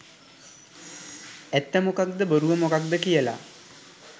ඇත්ත මොකද්ද බොරුව මොකද්ද කියල.